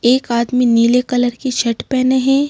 एक आदमी नीले कलर की शर्ट पहने हैं।